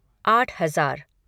आठ हज़ार